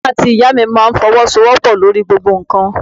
Bàbá àti Ìyá mi máa ń fọwọ́sowopo lórí gbogbo nǹkan.